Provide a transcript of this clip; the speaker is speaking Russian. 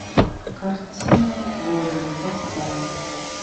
картина годы поставь